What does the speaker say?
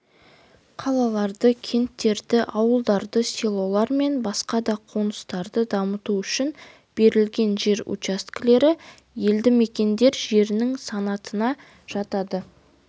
қалаларды кенттерді ауылдарды селолар мен басқа да қоныстарды дамыту үшін берілген жер учаскелері елді мекендер жерінің санатына жатады